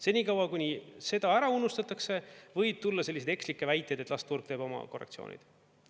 Senikaua, kuni seda ära unustatakse, võib tulla selliseid ekslikke väiteid, et las turg teeb oma korrektsioonid.